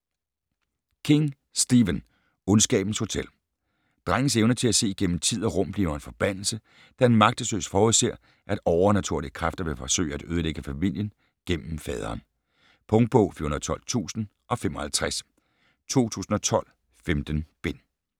King, Stephen: Ondskabens hotel Drengens evne til at se gennem tid og rum bliver en forbandelse, da han magtesløs forudser, at overnaturlige kræfter vil forsøge at ødelægge familien gennem faderen. Punktbog 412055 2012. 15 bind.